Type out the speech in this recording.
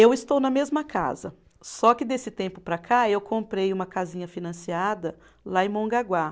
Eu estou na mesma casa, só que desse tempo para cá eu comprei uma casinha financiada lá em Mongaguá.